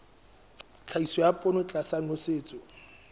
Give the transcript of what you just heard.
tlhahiso ya poone tlasa nosetso